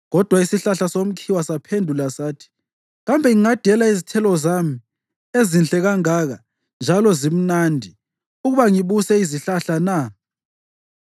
Kodwa isihlahla somkhiwa saphendula sathi, ‘Kambe ngingadela izithelo zami ezinhle kangaka njalo zimnandi, ukuba ngibuse izihlahla na?’